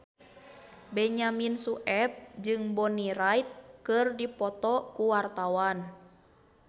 Benyamin Sueb jeung Bonnie Wright keur dipoto ku wartawan